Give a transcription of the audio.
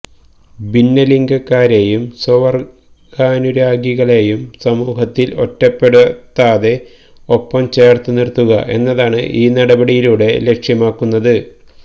ഭിന്നലിംഗക്കാരെയും സ്വവർഗാനുരാഗികളെയും സമൂഹത്തിൽ ഒറ്റപ്പെടുത്താതെ ഒപ്പം ചേർത്തു നിർത്തുക എന്നതാണ് ഈ നടപടിയിലൂടെ ലക്ഷ്യമാക്കുന്നത്